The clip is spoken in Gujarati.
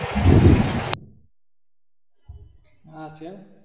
હા છે ને